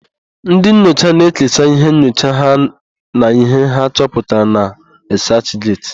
Ndị nyocha na-ekesa íhé nyocha ha na íhé ha chọputara na rịsachget.